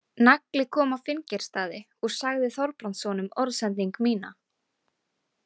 Nagli kom á Finngeirsstaði og sagði Þorbrandssonum orðsending mína.